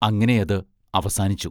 അങ്ങനെ അത് അവസാനിച്ചു.